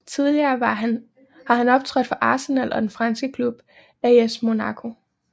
Tidligere har han optrådt for Arsenal og den franske klub AS Monaco